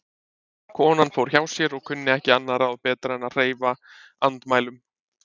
Konan fór hjá sér og kunni ekki annað ráð betra en að hreyfa andmælum.